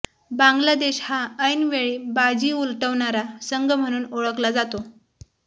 बांगलादेश हा ऐनवेळी बाजी उलटवणारा संघ म्हणून ओळखला जातो